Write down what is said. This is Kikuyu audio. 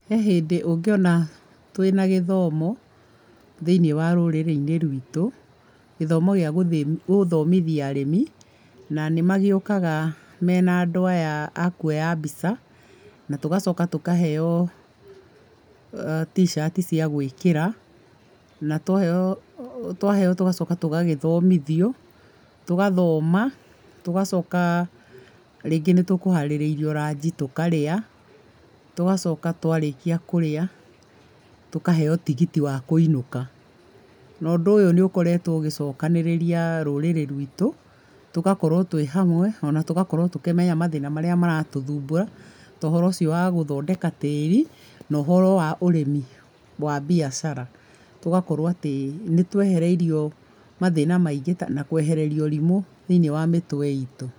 He hĩndĩ ũngĩona twĩna gĩthomo thĩinĩ wa rũrĩrĩ-inĩ rwitũ, gĩthomo gĩa gũthomithia arĩmi na nĩmagĩukaga mena andũ aya a kuoya mbica, na tũgacoka tũkaheo T-shirt cia gũĩkĩra na twaheo tũgacoka tũgagĩthomithio, tũgathoma tũgacoka rĩngĩ nĩ tũkũharĩrĩirio ranji tũkarĩa, tũgacoka twarĩkia kũrĩa tũkaheo tigiti wa kũinũka. Na ũndũ ũyũ nĩ ũkoretwo ũgĩcokanĩrĩria rũrĩrĩ rwitũ, tũgakorũo twĩ hamwe ona tũgakorũo tũkĩmenya mathĩna marĩa maratũthumbũra ta ũhoro ũcio wa gũthondeka tĩĩri na ũhoro wa ũrĩmi wa biacara. Tũgakorũoa atĩ nĩ twehereirio mathĩna maingĩ na kũehererio ũrĩmũ thĩinĩ wa mĩtwe itũ.